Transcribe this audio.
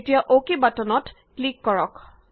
এতিয়া অক বাটনত ক্লিক কৰক